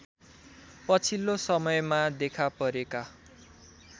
पछिल्लो समयमा देखापरेका